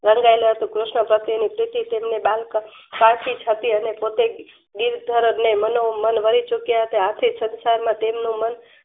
વડવામાં હતું કૃષ્ણ પ્રત્યે ની પ્રીતિ ડેન સાજિસ હતી અને પોતે ગીત ધોરને મનો મન વાલીચુક્યા હતા આથી સંસારમાં તેમનું મન